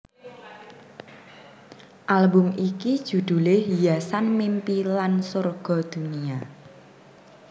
Album iki judhulé Hiasan Mimpi lan Sorga Dunia